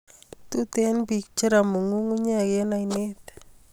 Tuten pik che ramu ngungunyek en ainet